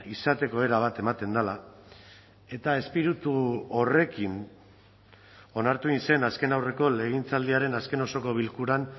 izateko era bat ematen dela eta espiritu horrekin onartu egin zen azken aurreko legegintzaldiaren azken osoko bilkuran